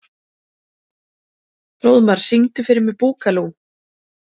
Hróðmar, syngdu fyrir mig „Búkalú“.